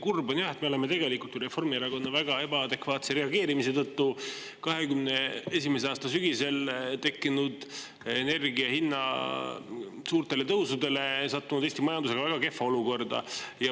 Kurb on jah, et me oleme Reformierakonna väga ebaadekvaatse reageerimise tõttu 2021. aasta sügisel tekkinud energia hinna suurtele tõusudele sattunud Eesti majandusega väga kehva olukorda.